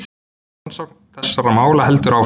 Rannsókn þessara mála heldur áfram.